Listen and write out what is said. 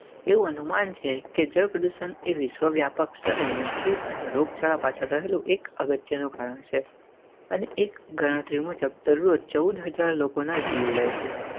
એવું અનુમાન છે કે જળ પ્રદૂષણ એ વિશ્વવ્યાપક સ્તરે મૃત્યુ અને રોગચાળા પાછળ રહેલો એક અગત્યનું કારણ છે અને એકગણતરી મુજબ જરૂર Fourteen-Thousand લોકોના જીવ લે છે.